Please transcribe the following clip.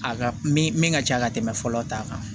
A ka min ka ca ka tɛmɛ fɔlɔ ta kan